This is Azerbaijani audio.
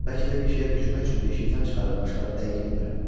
Bəlkə də bir şeyə bükmək üçün yeşikdən çıxarılırmışlar, dəqiq bilmirəm.